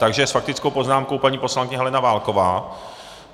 Takže s faktickou poznámkou paní poslankyně Helena Válková.